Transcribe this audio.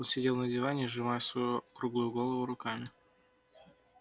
он сидел на диване сжимая свою круглую голову руками